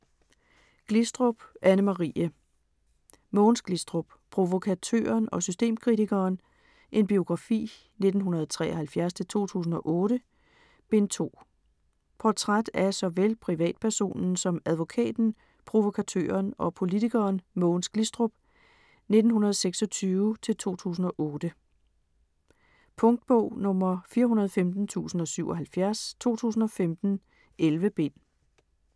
Glistrup, Anne-Marie: Mogens Glistrup: Provokatøren og systemkritikeren: en biografi - 1973-2008: Bind 2 Portræt af såvel privatpersonen som advokaten, provokatøren og politikeren Mogens Glistrup (1926-2008). Punktbog 415077 2015. 11 bind.